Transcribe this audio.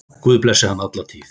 Guð blessi hann alla tíð.